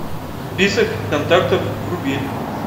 список контактов вруби